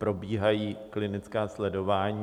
Probíhají klinická sledování.